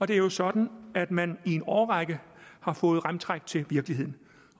det er jo sådan at man i en årrække har fået remtræk til virkeligheden